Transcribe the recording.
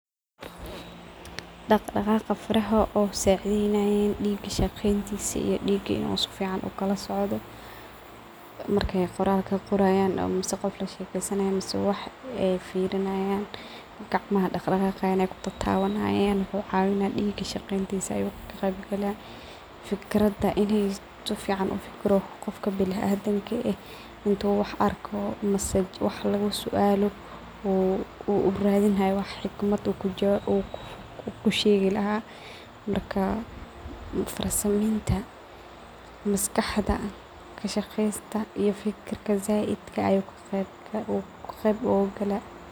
Daqdaqaqa fara oo sacideynayan diga saqentisa iyo diga oo sifican ukalasocdo markey qoralka qorayan mise qof lashekeysanaya mise wax ey firinyan gacmaha daqdaqaaya ee kutatawanayan wuxu cawinaya diga shaqeyntisa ayu kaqeyb gala. Fikrada inn sifican ufikiro qofka biniadanka eeh intu wax arko ama wax lagasualo uu uaradini haya xikmad uu kushegi laha marka farsameynta maskaxda iyo kashaqeynta fikirta saidka ah ayu kaqeyb gala.